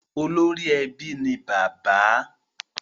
Ori ebi ni bàbá.